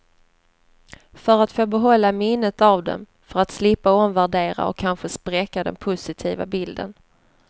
För att få behålla minnet av den, för att slippa omvärdera och kanske spräcka den positiva bilden.